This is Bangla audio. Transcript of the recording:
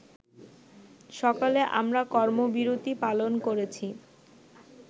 সকালে আমরা কর্মবিরতী পালন করেছি